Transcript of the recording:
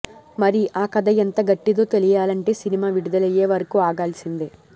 మరి ఆ కథ ఎంత గట్టిదో తెలియాలంటే సినిమా విడుదలయ్యే వరకు ఆగాల్సిందే